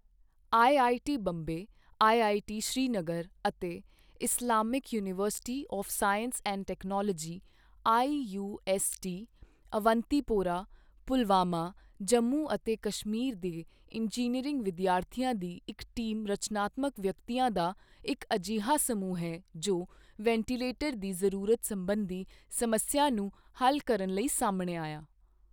IIT Bombay, NIT Srinagar ਅਤੇ Islamic university of science and technology IUST, Awantipora, Pulwama, Jammu ਅਤੇ ਕਸ਼ਮੀਰ ਦੇ engineering ਵਿਦਿਆਰਥੀਆਂ ਦੀ ਇੱਕ ਟੀਮ ਰਚਨਾਤਮਕ ਵਿਅਕਤੀਆਂ ਦਾ ਇੱਕ ਅਜਿਹਾ ਸਮੂਹ ਹੈ ਜੋ ਵੈਂਟੀਲੇਟਰ ਦੀ ਜ਼ਰੂਰਤ ਸਬੰਧੀ ਸਮੱਸਿਆ ਨੂੰ ਹੱਲ ਕਰਨ ਲਈ ਸਾਹਮਣੇ ਆਇਆ।